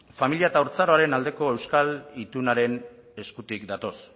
familia eta haurtzaroaren aldeko euskal itunaren eskutik datoz